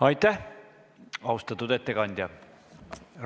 Aitäh, austatud ettekandja!